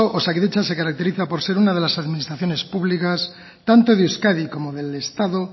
osakidetza se caracteriza por ser una de las administraciones públicas tanto de euskadi como del estado